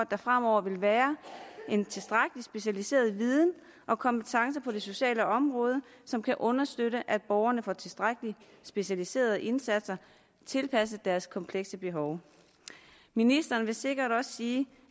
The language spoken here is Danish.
der fremover vil være en tilstrækkelig specialiseret viden og kompetence på det sociale område som kan understøtte at borgerne får tilstrækkelig specialiserede indsatser tilpasset deres komplekse behov ministeren vil sikkert også sige